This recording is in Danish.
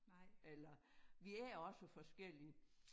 Eller vi er også forskellige